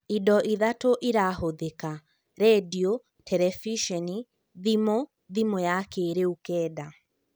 Indo ithatũ irahũthĩka: rendio, Terebiceni, Thimũ / thimũ ya kĩrĩu kenda